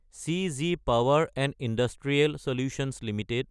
cheesy power & industrial solutions Ltd